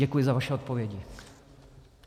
Děkuji za vaše odpovědi.